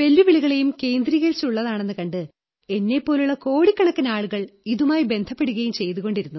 വെല്ലുവിളികളെയും കേന്ദ്രീകരിച്ചുള്ളതാണെന്നു കണ്ട് എന്നെപ്പോലുള്ള കോടിക്കണക്കിന് ആളുകൾ ഇതുമായി ബന്ധപ്പെടുകയും ചെയ്തുകൊണ്ടിരുന്നു